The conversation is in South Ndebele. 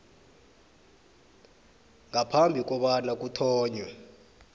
ngaphambi kobana kuthonywe